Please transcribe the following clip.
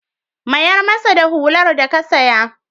Mayar masa da hular da ka saya.